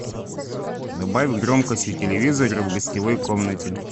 добавь громкость у телевизора в гостевой комнате